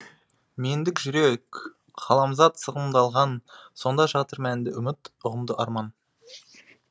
мендік жүрек ғаламзат сығымдалған сонда жатыр мәнді үміт ұғымды арман